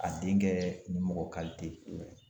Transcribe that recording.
A denkɛ ni mɔgɔ kalite.